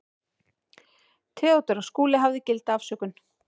THEODÓRA: Skúli hafði gilda afsökun.